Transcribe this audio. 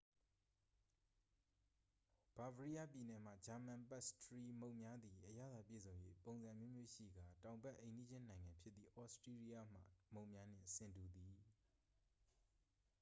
bavariaပြည်နယ်မှ ဂျာမန် ပတ်စ်ထရီမုန့်များသည် အရသာပြည့်စုံ၍ ပုံစံအမျိုးမျိုးရှိကာ တောင်ဘက် အိမ်နီးချင်းနိုင်ငံဖြစ်သည့် ဩစတီးရီးယားမှ မုန့်များနှင့် ဆင်တူသည်။